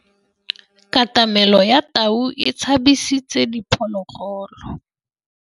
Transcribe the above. Katamêlô ya tau e tshabisitse diphôlôgôlô.